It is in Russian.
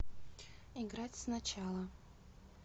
играть сначала